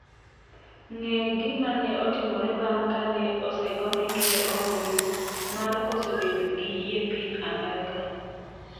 Ng'e gima ne otimore bang' kane osegone ker ombulu mar koso bedo gi yie piny Amerka